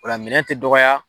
Ola minɛɛn te dɔgɔya